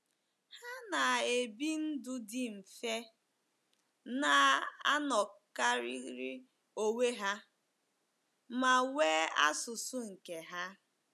Ha na - ebi ndụ dị mfe, na - anọkarịrị onwe ha, ma nwee asụsụ nke ha.